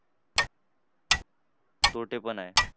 तोटे पण आहे.